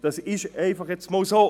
Das ist nun einmal so.